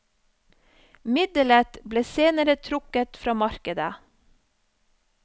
Middelet ble senere trukket fra markedet.